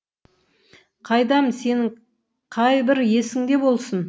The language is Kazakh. қайдам сенің қайбір есіңде болсын